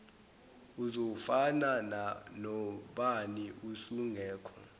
uzofana nobani usungekho